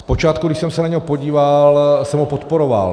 Zpočátku, když jsem se na něj podíval, jsem ho podporoval.